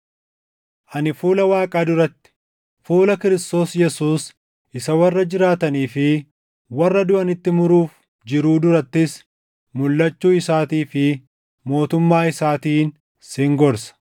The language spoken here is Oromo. Ani fuula Waaqaa duratti, fuula Kiristoos Yesuus isa warra jiraatanii fi warra duʼanitti muruuf jiruu durattis mulʼachuu isaatii fi mootummaa isaatiin sin gorsa.